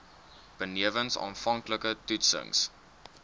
benewens aanvanklike toetsings